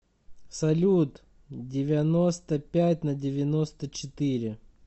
салют девяносто пять на девяносто четыре